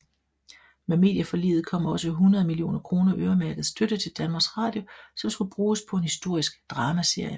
Med medieforliget kom også 100 millioner kroner øremærket støtte til DR som skulle bruges på en historisk dramaserie